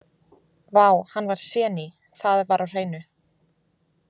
Vá, hann var séní, það var á hreinu.